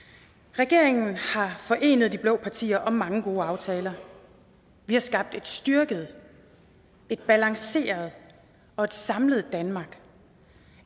regeringen har forenet de blå partier om mange gode aftaler vi har skabt et styrket et balanceret og et samlet danmark